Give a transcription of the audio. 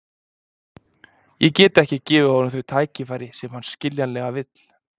Ég get ekki gefið honum þau tækifæri sem hann skiljanlega vill.